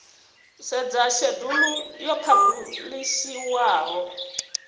u sedza shedulu yo phabulishiwaho